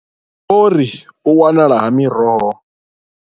Vho ri, U wanala ha miroho.